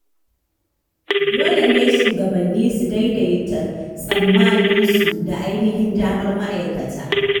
Dole ne shugabanni su daidaita tsammaninsu da ainihin damar ma’aikata.